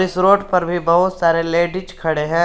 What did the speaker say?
इस रोड पर भी बहुत सारे लेडिस खड़े हैं।